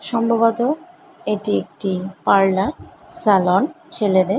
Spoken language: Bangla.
সম্ভবত এটি একটি পার্লার স্যালন ছেলেদের ।